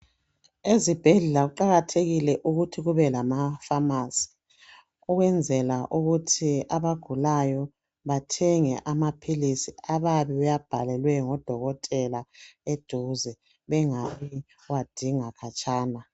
Ezibhedlela kuqalathekile ukuthi kube lamafamasi ukwenzela ukuthi abagulayo bathenge amaphilisi abayabe bewabhalelwe ngodokotela eduze bengayikuyawadinga khatshana.